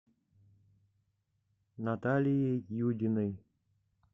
наталией юдиной